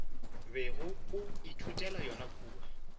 bego o ithutela yona kua